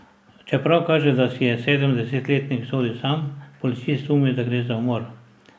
Čeprav kaže, da si je sedemdesetletnik sodil sam, Policist sumi, da gre za umor.